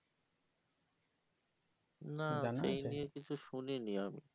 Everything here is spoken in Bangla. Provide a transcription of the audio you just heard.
না সেই নিয়ে কিছু শুনিনি আমি